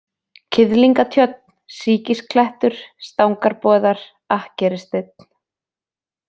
Kiðlingatjörn, Sýkisklettur, Stangarboðar, Akkerissteinn